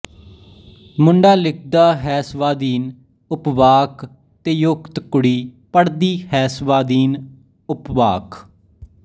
ਮੁੰਡਾ ਲਿਖਦਾ ਹੈਸਵਾਧੀਨ ਉਪਵਾਕ ਤੇਯੋਜਕ ਕੁੜੀ ਪੜਦੀ ਹੈਸਵਾਧੀਨ ਉਪਵਾਕ